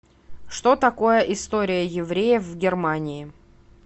что такое история евреев в германии